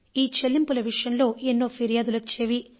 ఈ చెల్లింపుల విషయంలో ఎన్నో ఫిర్యాదులు వచ్చేవి